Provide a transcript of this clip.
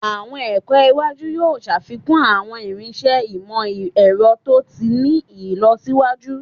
Awọn ẹkọ iwaju yoo ṣafikun awọn irinṣẹ imọ-ẹrọ to ti ni ilọsiwaju